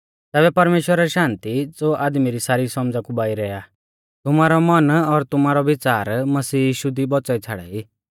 तैबै परमेश्‍वरा री शान्ति ज़ो आदमी री सारी सौमझ़ा कु बाइरै आ तुमारौ मन और तुमारौ बिच़ार मसीह यीशु दी बौच़ाई छ़ाड़ाई